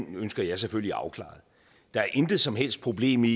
ønsker jeg selvfølgelig afklaret der er intet som helst problem i